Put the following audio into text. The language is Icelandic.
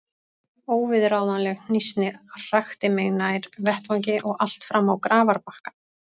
Óviðráðanleg hnýsnin hrakti mig nær vettvangi og allt fram á grafarbakkann.